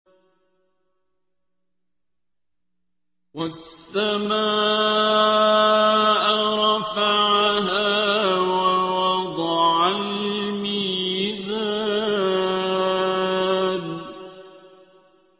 وَالسَّمَاءَ رَفَعَهَا وَوَضَعَ الْمِيزَانَ